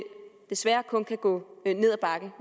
desværre kun kan gå ned ad bakke